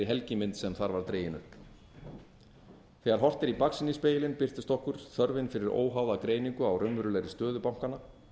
helgimynd sem þar var dregin upp þegar horft er í baksýnisspegilinn birtist okkur þörfin fyrir óháða greiningu á raunverulegri stöðu bankanna